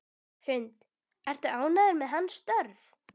Hrund: Ertu ánægður með hans störf?